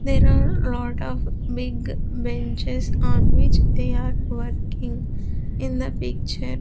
There are lot of big benches on which they are working in the picture.